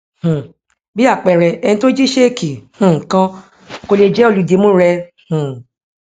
um bí àpẹẹrẹ ẹni tó jí ṣéèkì um kan kò lè jé olùdìmúu rẹ um